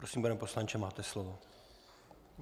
Prosím, pane poslanče, máte slovo.